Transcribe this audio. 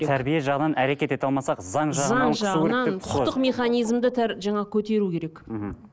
тәрбие жағынан әрекет ете алмасақ заң заң жағынан құқықтық механизмді жаңағы көтеу керек мхм